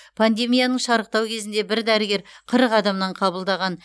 пандемияның шарықтау кезінде бір дәрігер қырық адамнан қабылдаған